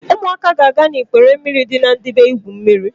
Ụmụaka ga-aga ikpere mmiri dị na Ndibe igwu mmiri.